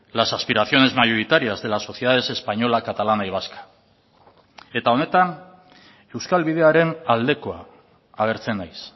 las aspiraciones mayoritarias de las sociedades española catalana y vasca eta honetan euskal bidearen aldekoa agertzen naiz